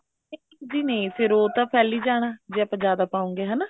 ਜੀ ਨਹੀਂ ਫੇਰ ਉਹ ਤਾਂ ਫੈਲੀ ਜਾਣਾ ਜੇ ਆਪਾਂ ਜਿਆਦਾ ਪਾਉਗੇ ਹਨਾ